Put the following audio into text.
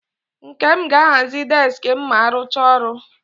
Nkem ga-ahazi deski m ma arụchaa ọrụ.